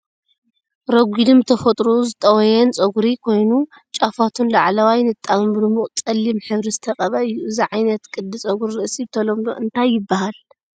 ረጒድን ብተፈጥሮኡ ዝጠወየን ጸጉሪ ኮይኑ፡ ጫፋቱን ላዕለዋይ ንጣብን ብድሙቕ ጸሊም ሕብሪ ዝተቐብአ እዩ። እዚ ዓይነት ቅዲ ጸጉሪ ርእሲ ብተለምዶ እንታይ ይበሃል?